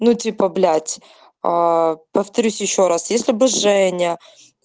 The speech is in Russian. ну типа блять повторюсь ещё раз если бы женя